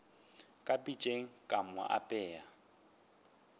ka pitšeng ka mo apea